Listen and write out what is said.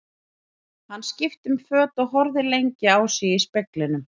Hann skipti um föt og horfði lengi á sig í speglinum.